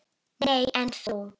Nei, en þú?